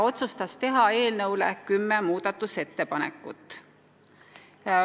Otsustati teha kümme muudatusettepanekut.